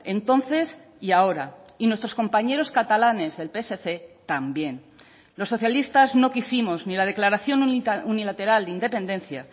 entonces y ahora y nuestros compañeros catalanes del psc también los socialistas no quisimos ni la declaración unilateral de independencia